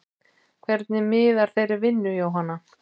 Hvernig miðar þeirri vinnu Jóhanna?